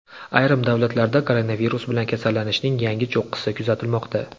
Ayrim davlatlarda koronavirus bilan kasallanishning yangi cho‘qqisi kuzatilmoqda.